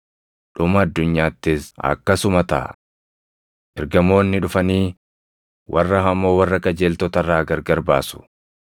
Dhuma addunyaattis akkasuma taʼa. Ergamoonni dhufanii warra hamoo warra qajeeltota irraa gargar baasu;